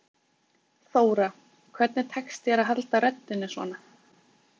Þóra: Hvernig tekst þér að halda röddinni svona?